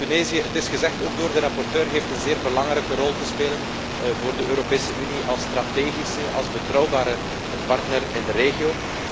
Tunesië het is ook door de rapporteur gezegd heeft een zeer belangrijke rol te spelen voor de Europese Unie als strategische, als betrouwbare partner in de regio.